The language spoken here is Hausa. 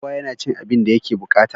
Kowa yana cin abin da yake buƙata.